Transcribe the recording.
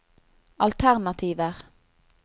alternativer